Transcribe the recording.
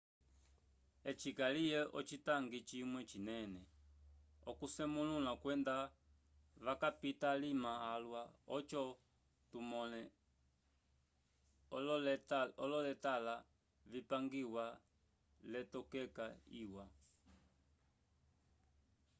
eci kaliye ocitangi cimwe cinene c'okusemulũla kwenda vakapita alima alwa oco tumõle ololeatole vipangiwa l'etokekya iwa